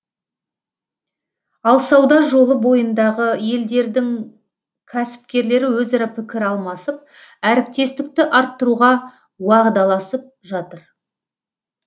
ал сауда жолы бойындағы елдердің кәсіпкерлері өзара пікір алмасып әріптестікті арттыруға уағдаласып жатыр